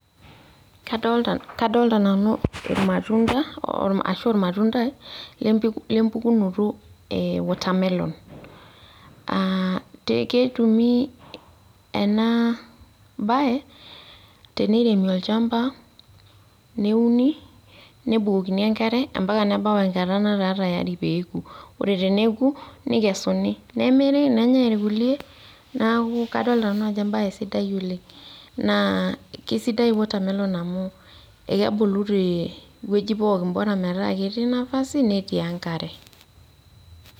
Kadolta nanu irmatunda, ashu ormatuntai lempukunoto e watermelon. Ah ketumi enabae, teneiremi olchamba, neuni, nebukokini enkare, ampaka nebau enkata nataa tayari peku. Ore teneku, nikesuni, nemiri, nenyai irkulie, naku kadolta nanu ajo ebae sidai oleng. Naa kesidai watermelon amu, ekebulu tewueji pookin, bora metaa ketii nafasi, netii enkare.